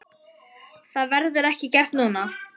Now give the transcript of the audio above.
Það verður ekki gert núna.